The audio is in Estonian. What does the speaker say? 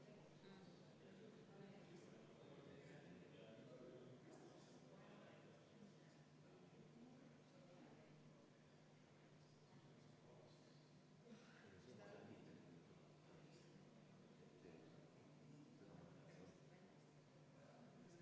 Palun seda muudatusettepanekut hääletada ja enne seda palun Konservatiivse Rahvaerakonna nimel, fraktsiooni nimel kümme minutit vaheaega.